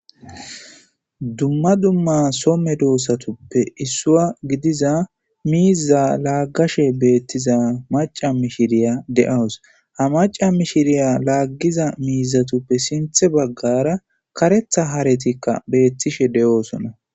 dumma dumma Soo medoossatuppe issua gidiza miiza laaggashe beettiza maca mishiriya de7awus ha maca mishiriya laaggiza miizatuppe sinthe baggara karetha haretikka beettishe de7oosona